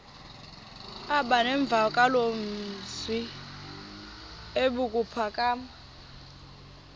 aba nemvakalozwi ebuphakama